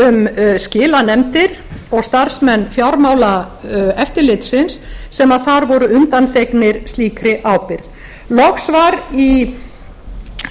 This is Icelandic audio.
um skilanefndir og starfsmenn fjármálaeftirlitsins sem þar voru undanþegnir slíkri ábyrgð loks var í